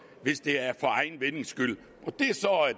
hvis det er for egen vindings skyld